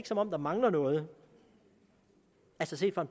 som om der mangler noget altså set fra